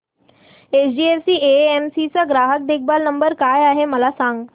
HDFC AMC चा ग्राहक देखभाल नंबर काय आहे मला सांग